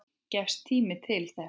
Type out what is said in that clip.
Gefst tími til þess?